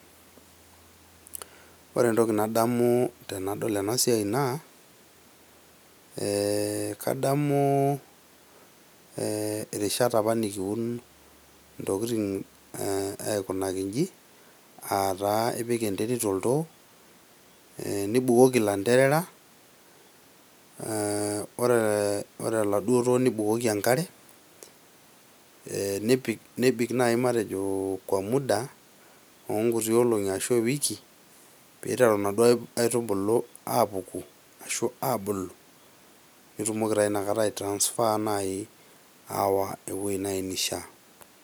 Ore entoki nadamu tenadol ena siai naa ,eeh kadamu irishat apa nekiun intokiting aikunaki inji aataa ipik enterit oltoo, nibukoki ilantera ore oladuo too nibukoki enkare ,nebik naaji matejo kwa muda oo nkuti olongi ashua ewiki pee eiteru naduo aitubulu aapuku ashu aabulu nitumoki taa naaji inakata ai transfer naaji aawa eweji neishia.